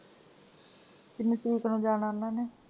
ਕਿੰਨੀ ਤਰੀਕ ਨੂੰ ਜਾਣਾ ਉਹਨਾਂ ਨੇ?